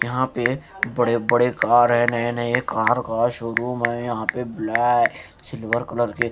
यहां पे बड़े-बड़े कार हैं नए नए कार का शोरूम है यहां पे ब्लै सिल्वर कलर के --